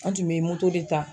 An tun be moto de ta.